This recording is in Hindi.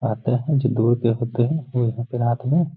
आते है जो दूर के होते है वो यहाँ पे रात में --